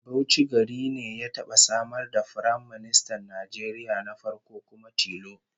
Bauchi gari ne ya taba samar da Firaministan Najeriya na farko kuma tilo